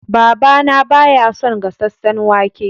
Baba na ba ya son gasasen wake.